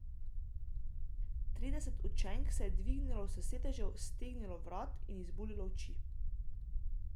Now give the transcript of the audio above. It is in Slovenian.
Trideset učenk se je dvignilo s sedežev, stegnilo vrat in izbuljilo oči.